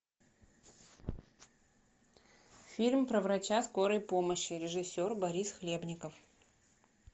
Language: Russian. фильм про врача скорой помощи режиссер борис хлебников